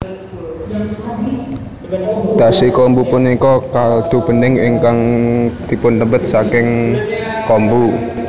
Dashi kombu punika kaldu bening ingkang dipunpendhet saking kombu